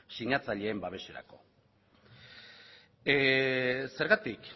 sinatzaileen babeserako zergatik